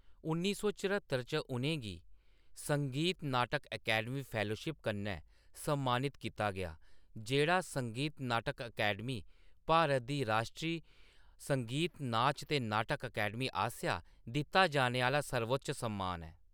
उन्नी सौ चरहत्तर च, उʼनें गी संगीत नाटक अकैडमी फैलोशिप कन्नै सम्मानित कीता गेआ, जेह्‌‌ड़ा संगीत नाटक अकैडमी, भारत दी राश्ट्री संगीत, नाच ते नाटक अकैडमी आसेआ दित्ता जाने आह्‌‌‌ला सर्वोच्च सम्मान ऐ।